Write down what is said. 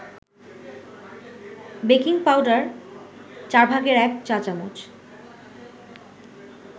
baking powder ১/৪ চা-চামচ